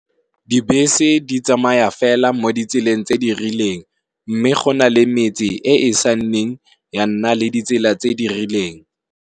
Dibese di tsamaya fela mo ditseleng tse di rileng mme go na le metse e e esenang ditsela tse di rileng.